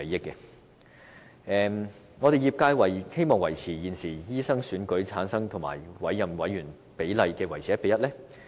業界希望把現時經醫生選舉產生和經委任的委員比例維持於 1：1。